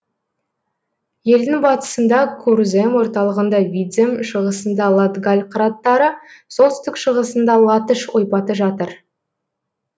елдің батысында курзем орталығында видзем шығысында латгаль қыраттары солтүстік шығысында латыш ойпаты жатыр